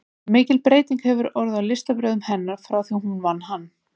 Svo mikil breyting hefði orðið á listbrögðum hennar frá því hún vann hann.